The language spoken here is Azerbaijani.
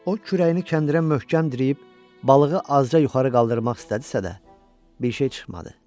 O kürəyini kəndirə möhkəm düyüb balığı azca yuxarı qaldırmaq istədisə də, bir şey çıxmadı.